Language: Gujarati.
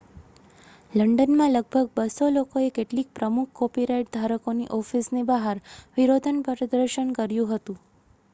લંડનમાં લગભગ 200 લોકોએ કેટલીક પ્રમુખ કોપીરાઇટ ધારકોની ઑફિસની બહાર વિરોધનું પ્રદર્શન કર્યું હતું